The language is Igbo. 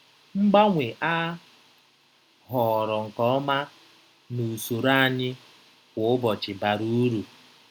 Mgbanwe a họọrọ nke ọma na usoro anyị kwa ụbọchị bara uru.